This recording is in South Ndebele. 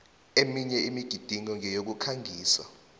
eminye imigidingo ngeyokukhangisa